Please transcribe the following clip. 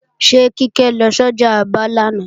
Ṣé Kíkẹ́ lọ sọ́jà Aba lánàá